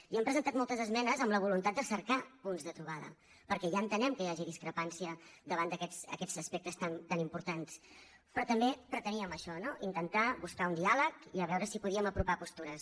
i hem presentat moltes esmenes amb la voluntat de cercar punts de trobada perquè ja entenem que hi hagi discrepància davant d’aquests aspectes tan importants però també preteníem això no intentar buscar un diàleg i veure si podíem apropar postures